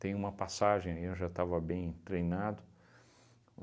Tem uma passagem aí, eu já estava bem treinado.